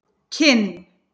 Kinn